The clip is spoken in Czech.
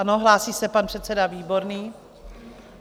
Ano, hlásí se pan předseda Výborný.